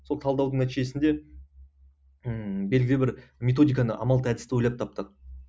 сол талдаудың нәтижесінде ммм белгілі бір методиканы амалды әдісті ойлап таптық